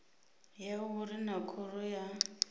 ya uri naa khoro ya